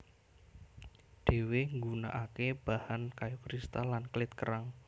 Dhewe nggunakake bahan kayu kristal lan klit kerang